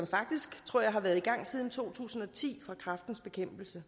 faktisk tror jeg har været i gang siden to tusind og ti fra kræftens bekæmpelses